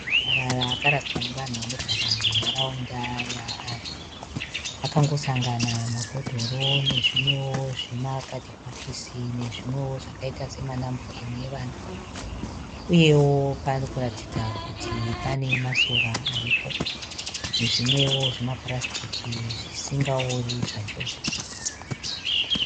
Marara akaraswa nevanhu vanogara munharaunda yaari, akangosanga mabhodhoro nezvimwewo zvimakadhibhokisi nezvimwewo zvakaita semanapukeni evana uyewo parikuratidza kuti pane masora aripo nezvimwewo zvimapurasitiki zvisingaori zvachose.